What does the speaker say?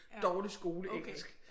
Dårlig skoleengelsk